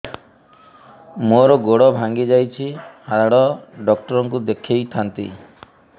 ମୋର ଗୋଡ ଭାଙ୍ଗି ଯାଇଛି ହାଡ ଡକ୍ଟର ଙ୍କୁ ଦେଖେଇ ଥାନ୍ତି